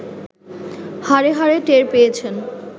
হাড়ে হাড়ে টের পেয়েছেন